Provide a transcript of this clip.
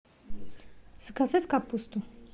заказать капусту